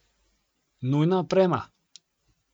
Nujna oprema!